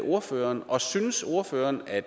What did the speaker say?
ordføreren og synes ordføreren at